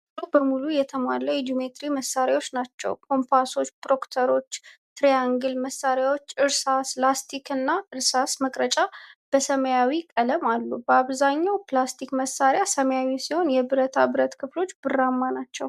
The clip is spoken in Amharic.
ሙሉ በሙሉ የተሟላ የጂኦሜትሪ መሳሪያዎች ናቸው። ኮምፓሶች፣ ፕሮትራክተር፣ ትሪያንግል መስመሪያዎች፣ እርሳስ፣ ላስቲክ እና እርሳስ መቅረጫ በሰማያዊ ቀለም አሉ። አብዛኛው የፕላስቲክ መሳሪያ ሰማያዊ ሲሆን፣ የብረታ ብረት ክፍሎቹ ብርማ ናቸው።